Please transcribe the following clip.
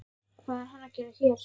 Og hvað er hann að gera hér?